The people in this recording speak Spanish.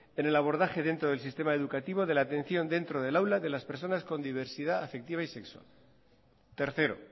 en el abordaje dentro del sistema educativo de la atención dentro del aula de las personas con diversidad afectiva y sexual tercero